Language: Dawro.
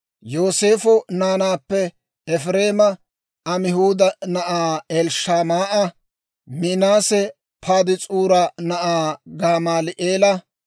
Yooseefo naanaappe Efireema Amihuuda na'aa Elishamaa'a, Minaase Padaas'uura na'aa Gamaali'eela,